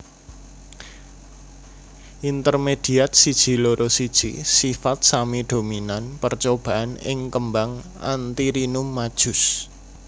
Intermediat siji loro siji sifat sami dominan percobaan ing kembang Antirrhinum majus